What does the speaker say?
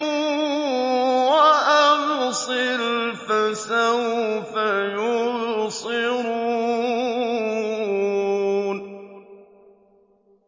وَأَبْصِرْ فَسَوْفَ يُبْصِرُونَ